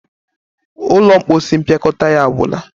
ụlọ mposi mpịakọta ya agwu na.